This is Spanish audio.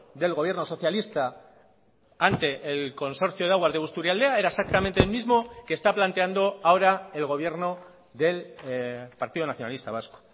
del gobierno socialista ante el consorcio de aguas de busturialdea era exactamente el mismo que está planteando ahora el gobierno del partido nacionalista vasco